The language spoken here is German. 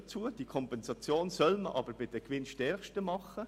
Aber die Kompensation soll man bei den Gewinnstärksten machen.